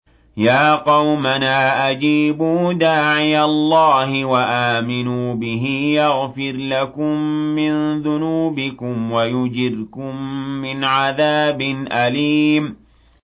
يَا قَوْمَنَا أَجِيبُوا دَاعِيَ اللَّهِ وَآمِنُوا بِهِ يَغْفِرْ لَكُم مِّن ذُنُوبِكُمْ وَيُجِرْكُم مِّنْ عَذَابٍ أَلِيمٍ